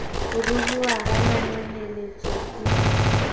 ho ruruha ha manonyeletso di